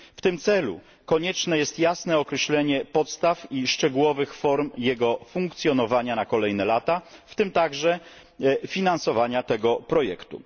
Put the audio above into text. W tym celu konieczne jest jasne określenie podstaw i szczegółowych form jego funkcjonowania na kolejne lata, w tym także finansowania tego projektu.